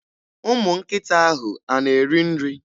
Ụmụnkịta ahụ a na-eri nri?